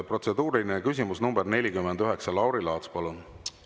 Protseduuriline küsimus nr 49, Lauri Laats, palun!